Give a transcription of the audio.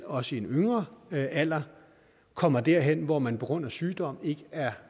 også i en yngre alder kommer derhen hvor man på grund af sygdom ikke er